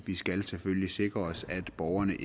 vi skal selvfølgelig sikre os at borgerne